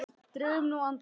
Drögum nú andann.